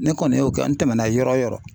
Ne kɔni y'o kɛ n tɛmɛna yɔrɔ o yɔrɔ.